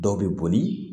Dɔw bɛ boli